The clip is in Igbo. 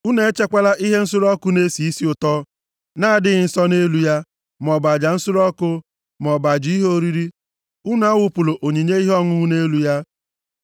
Unu echekwala ihe nsure ọkụ na-esi isi ụtọ na-adịghị nsọ nʼelu ya, maọbụ aja nsure ọkụ, maọbụ aja ihe oriri, unu awụpụla onyinye ihe ọṅụṅụ nʼelu ya.